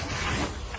Diqqətli olun.